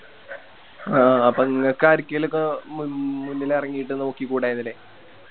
ആ അപ്പൊ ഇങ്ങക്കരിക്കേലൊക്കെ മ് മുന്നിലിറങ്ങിട്ട് നോക്കിക്കൂടരുന്നില്ലേ